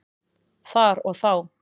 Þar og þá.